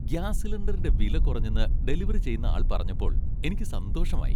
Gas സിലിണ്ടറിന്റെ വില കുറഞ്ഞെന്ന് ഡെലിവറി ചെയുന്ന ആൾ പറഞ്ഞപ്പോൾ എനിക്ക് സന്തോഷമായി.